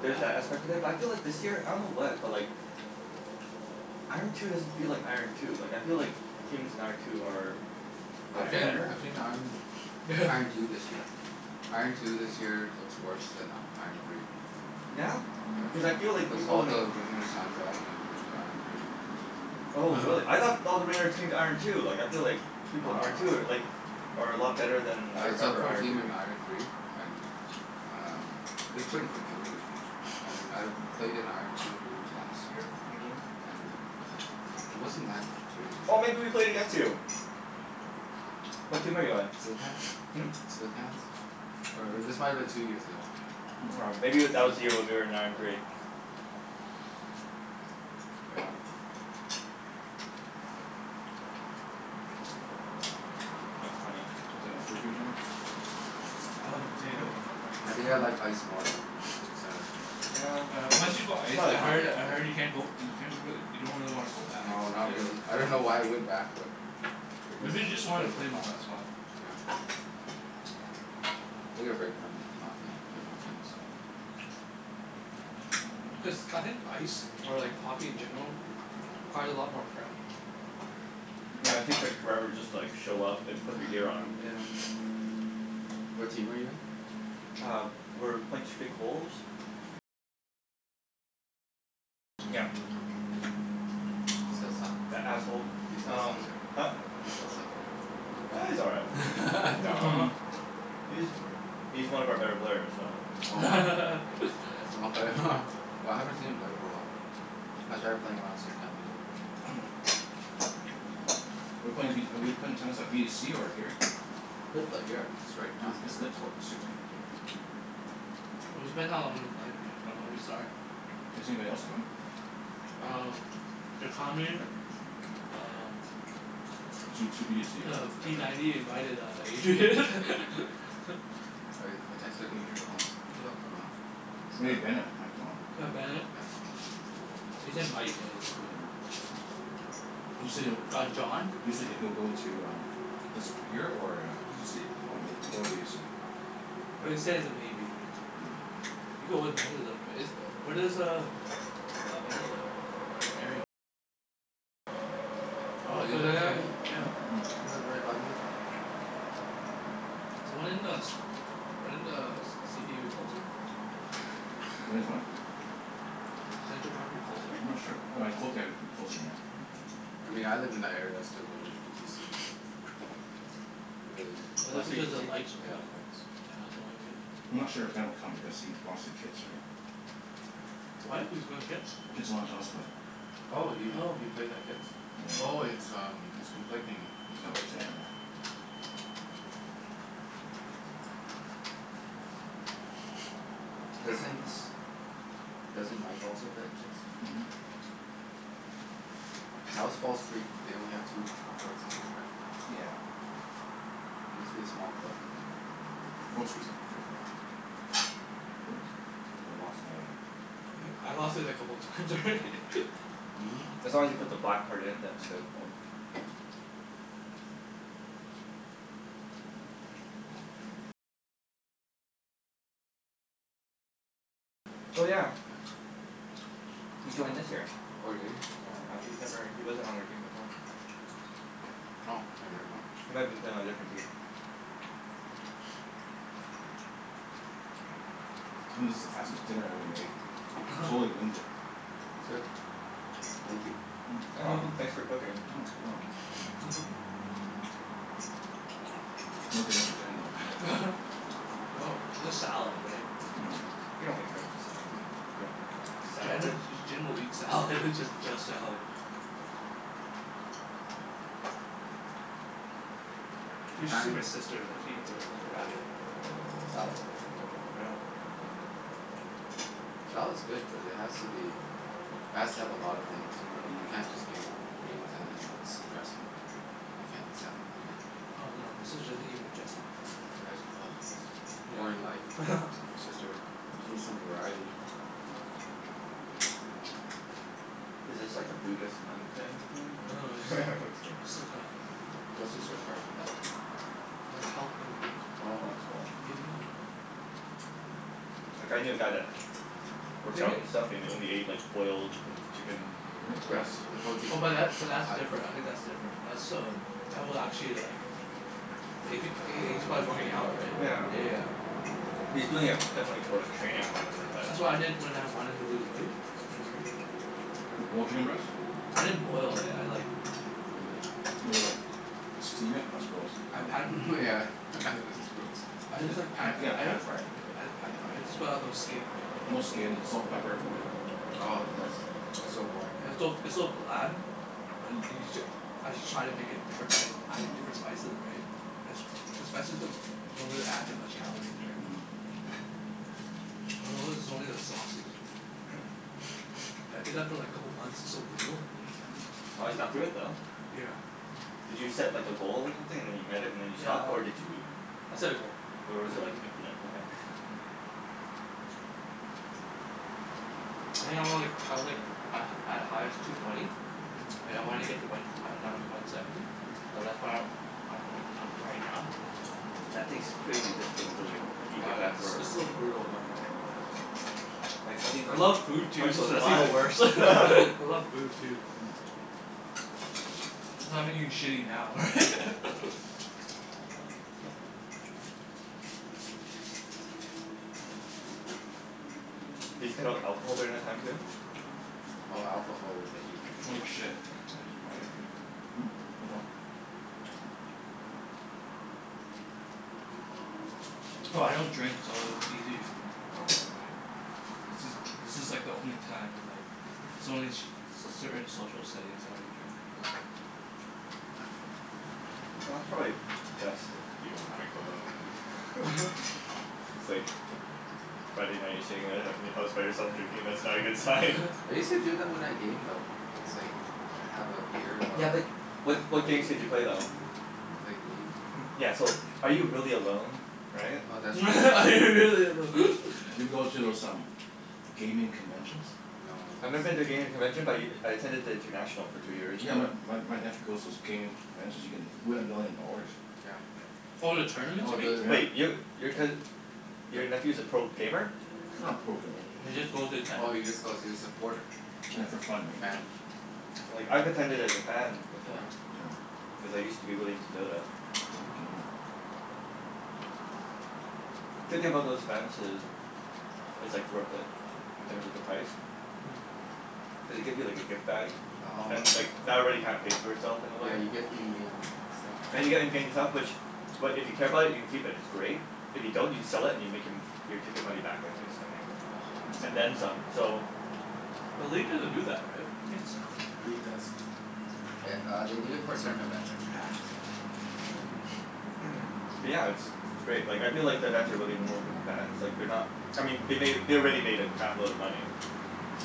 there's that aspect of it. But I feel like this year, I don't know what, but like Mhm. iron two doesn't feel like iron two. Like I feel like the teams in iron two are are I've seen better. I've seen iron iron two this year. Iron two this year looks worse than iron three. Yeah? Yeah. Cuz I feel like Cuz people all in the wringers sand-bagged and went to iron three. Oh really? I thought all the ringers came to iron two. Like I feel like No people in no no iron two are no, yeah. like are a lot better than I I subbed remember for a iron three team in being. iron three and um it was pretty competitive. I mean I've played in iron two last year. Mhm. And it wasn't that crazy. Oh, maybe we played against you? What team are you on? Slick hands. Hmm? Slick hands. Or or this might have been two years ago. M- aw Hmm. maybe Slick w- hands? that Oh. was the year when we were in iron three. Yeah. That's funny. Is it enough food for you, Jimmy? I love the potatoes. I want more I potatoes. think I Mm. like ice more though. Cuz uh Yeah, Yeah, once it's you go ice it's not as I different heard I game, heard you yeah. can't go you can't really, you don't really wanna go back. No, not really. I don't know why I Yeah. went back but I guess Maybe you just just to wanted play to for play fun. more, that's why. Yeah. Take a break from hockey. Played more tennis. Mm. Cuz, I think ice or like hockey in general requires a lot more prep. Yeah, it Mm. takes like forever just to like show up and put your gear on. Yeah. What team are you in? Uh, we're Point Streak Wolves. Still suck? That asshole. He still sucks, Um right? Huh? He still sucks, right? Ah, he's all right. No. Mhm. He's he's one of our better players, so Oh, wow. Okay. Well, I haven't seen him play for a while. I started playing around the same time he did. We're playing v- we're playing tennis by b to c or here? Could play here. It's right down here, It's lit right? courts too, right? It was depending how long we play, right? Or when we start. Is anybody else coming? Um Um Two two b to c or Uh, p ninety invited uh Yeah, Adrian. Adrian might be coming. I r- I texted him Adri- before oh. this. Yeah. He'll come out. Maybe Bennett might come out. Yeah, Oh, Bennett. Bennett. He said might. Yeah, he said might, so Mm. You said it Uh, John. You said he'll go to uh this here or a B to c. Okay, w- we'll go with b of c. But he said he's a maybe. You go with right? Is u- where Mm. does uh uh Bennett live? Hmm? Oh, he lives near me? He lives right by me then. So when does when does c p u closer? Mm. When is what? I'm Central Park move closer? not sure. W- w cl- yeah, like it'd be closer, yeah. Yeah. I mean I live in that area, I still go to v t c. Really. But that's What's v t because of c? lights, Yeah, right? the lights. Yeah, that's the only reason. I'm not sure if Ben will come because he lost to Kits, right? What? He was going to Kits? Kitsilano Tennis Club. Oh, he Oh. he plays at Kits? Oh, Yeah. it's um it's conflicting. Is that what Yep, you're yeah, saying? yeah. Doesn't doesn't Mike also play at Kits? Mhm. How is False Creek? They only have two courts this year, right? Yeah. Must be a small club. False Creek's pretty small. Oops. I think I lost my uh E- I lost it a couple times already. Mhm. As long as you put the black part in then it's good. Mm. Yeah. Oh yeah. Yeah. He joined this year. Oh, did he? Yeah. Uh he's never, he wasn't on our team before. Oh, k never mind. He might have been playing on a different team. This is the fastest dinner I ever made. Totally winged it. It's good. Thank you. Mm. Yeah. You're welcome. Thanks for cooking. Mm. No dinner for Jen, though. Well, there's salad, right? Mhm. You don't make friends with salad. You don't make friends with Jen salad. J- Jen will eat salad. Just just salad. Hmm. What You should see my time sister is like, she eats a like a rabbit. Salad? Salad's good, but it has to be has to have a lot of things. Yeah. It Mm. can't just be g- greens and then s- dressing. I can't eat salad like Oh that. yeah. Oh, no, my sister doesn't eat with dressing. Yeah, sh- ah. Boring life, Yeah. your sister. She needs some variety. Is this like a Buddhist nun family thing, Mm. Mm. No no, it's or? like Just it's like a kidding. That's just her preference, a- right? like health thing ahe- Well Oh. that's cool. maybe? I dunno. Like I knew a guy that Same worked out and stuff, and he only ate like i- boiled chicken mm Yep, breast. the Really? protein. Oh The but that but that's high different. I protein. think that's different. That's um that will actually like if he h- h- he's probably working out, right? Yeah. Yeah, yeah. He's Yeah. doing it definitely for like Yeah, training or yeah. whatever, but That's what I did when I wanted to lose weight. Mhm. Boiled chicken breast? Right. I didn't boil it, I like Maybe like made it like steam it? That's gross. I Um pan Myeah, this is gross. I just like Pa- pan yeah, fried it. pan-fry it. Yep, I just pan fried. Just put out no skin or No anything, yeah. skin. Salt and pepper. Yeah. Oh, that's that's so boring. It's so it's so bland. But you you j- as you try to make it different by adding different spices, right? The s- the spices don't don't really add that much calories, right? Mhm. I notice it's only Mhm. the sauces. I did that for like a couple months. It's so brutal. Wow, you got through it though. Yeah. Yeah. Did you set like a goal or something, and then you met it and then you Yeah stopped? I Or did you I set a goal. or Yeah, was I it ho- like, infinite? Okay. yeah. I think I was like, I was like a at highest, two twenty. And I wanna get to one uh down to one seventy. Mhm. So that's where I'm ri- I'm right now. That takes crazy discipline to like eat Yeah, like that it's s- for it's so brutal, man. Like how did I you, love food how too, did you so that's even survive? worse. I love food, too. Mm. I'm gonna move the salad Cuz I'm now. not Oh. eating shitty now, right? Did you cut out alcohol during that time too? Hmm? Oh, alcohol will get you for Oh sure. shit, I jus- my earpiece fell off. No, I don't drink so it was easy for me. Okay. Right? This is, this is like the only time where like It's only in sh- c- certain social settings I will drink a little bit. Well, that's probably best if you don't drink alone and It's like Yeah. Friday night you're sitting at i- in your house by yourself drinking. That's not a good sign. I use to do that when I game, though. It's like, have a beer while Yeah I but what while what I game. games did you play though? Played League. Yeah so, are you really alone? Right? Oh, that's true. That's Are you really true. alone? Have you ever go to those um gaming conventions? No, I've never been to a that's gaming convention but y- I attended the international for two years in Yeah, a my row. my my nephew goes to those gaming conventions. You can win a million dollars. Yeah. Oh, the tournaments, Oh, you mean? the Wait, Yeah. yo- your cous- your the nephew's a pro gamer? Not a pro gamer. He just goes to attend. Oh, he just goes, he's a supporter. Yeah, for fun, right? So Fan. Like, I've attended as a fan Oh, Yeah. before. yeah. Yeah. Cuz I used to be really into Dota. Pro Mhm. gamer. Yeah. Good thing about those events is it's like Mm. worth it, in terms of the price. Cuz they give you like a gift bag, Mm. Oh, and okay. like that already kinda pays for itself in a way. Yeah, you get in-game stuff, right? And you're getting gaming stuff which, what, if you care about it you can keep, and it's great. If you don't you can sell it and you make em- your ticket money back like instantly. oh ho, that's And Mm. then great. some, so But leet doesn't do that, right? You can't sell it. League does. Th- uh, they do it for certain events, like Hacks and Mm. Mm. Mm. But Yeah. yeah, it's it's great. Like, I feel like the events are really more for the fans. Like, they're not I mean they made, they already made a crap load of money.